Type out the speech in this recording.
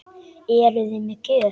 Eruði með gjöf?